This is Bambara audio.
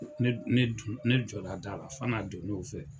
Ne jɔla da la, fana don na u fɛ.